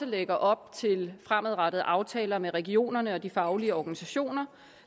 lægger op til fremadrettede aftaler med regionerne og de faglige organisationer